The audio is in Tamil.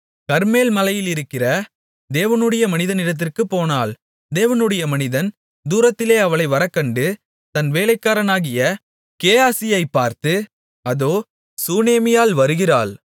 கர்மேல் மலையிலிருக்கிற தேவனுடைய மனிதனிடத்திற்குப் போனாள் தேவனுடைய மனிதன் தூரத்திலே அவளை வரக்கண்டு தன் வேலைக்காரனாகிய கேயாசியைப் பார்த்து அதோ சூனேமியாள் வருகிறாள்